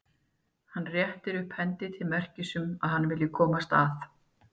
Hann réttir upp hendina til merkis um að hann vilji komast að.